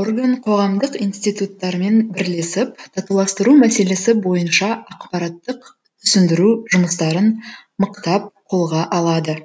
орган қоғамдық институттармен бірлесіп татуластыру мәселесі бойынша ақпараттық түсіндіру жұмыстарын мықтап қолға алады